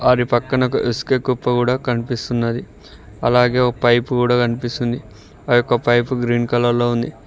మరి పక్కన ఒక ఇసుక కుప్ప కూడా కనిపిస్తున్నది అలాగే ఒక పైపు కూడా కనిపిస్తుంది ఆ యొక్క పైపు గ్రీన్ కలర్ లో ఉంది.